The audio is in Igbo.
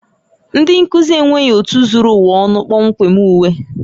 Ndị nkuzi enweghị otu zuru ụwa ọnụ kpọmkwem uwe